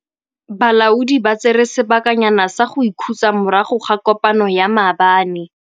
Balaodi ba tsere sebakanyana sa go ikhutsa morago ga kopanô ya maabane.